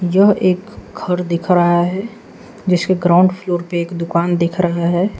यह एक घर दिख रहा है जिसके ग्राउंड फ्लोर पे एक दुकान दिख रहा है।